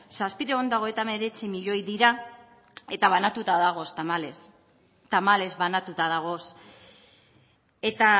zazpiehun eta hogeita hemeretzi milioi dira eta banatuta dagoz tamalez tamalez banatuta dagoz eta